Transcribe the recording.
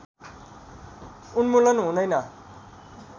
उन्मूलन हुँदैन